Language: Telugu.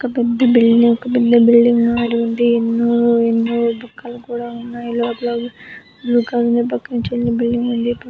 ఒక పెద్ద బిల్డింగ్ పెద్ద బిల్డింగ్ ఉంది. ఎన్నోఎన్నో బొక్కలు కూడా ఉన్నాయి. లోపల బ్లూ కలర్ లో పక్కన చిన్న బిల్డింగ్ ఉంది. పక్క--